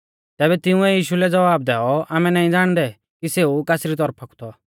तैबै तिंउऐ यीशु लै ज़वाब दैऔ आमै नाईं ज़ाणदै कि सेऊ कासरी तौरफा कु थौ